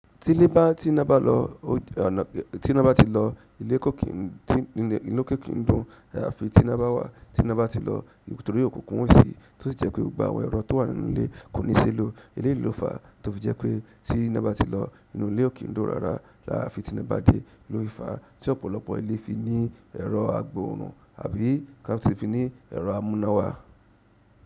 Tí lé bá tí ná bá ti lọ ilé kò kí n dún ayáfi tí ná bá wà tí ná bá ti lọ torí òkúnkun ò sí tó sì jẹ́ pé gbogbo àwọn èrọ tó wà nínú ilé kò ní ṣe é lò. Eleyii lò fa tó fi jẹ́ pé tí ná bá ti lọ inú ilé ò kí ń dún rárá ayáfi tí ná bá dé. Lo fi fá tí ọ̀pọ̀lọpọ̀ ilé fi ní ẹ̀rọ agbóòrún àbí ká ti fi ní ẹ̀rọ amúnáwá.